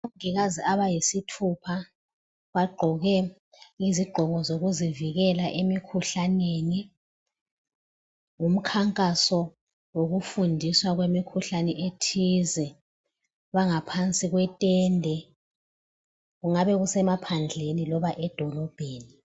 Omongikazi abayisithupha bagqoke izigqoko zokuzivikela emikhuhlaneni. Ngumkhankaso wokufundiswa kwemikhuhlane ethize. Bangaphansi kwetende, kungabe kusemaphandleni loba edolobheni.